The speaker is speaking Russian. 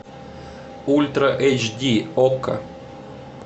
ультра эйч ди окко